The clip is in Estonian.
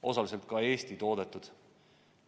Osaliselt ka Eesti toodetud.